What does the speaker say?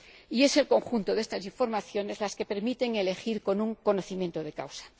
Y es el conjunto de estas informaciones el que permite elegir con conocimiento de causa.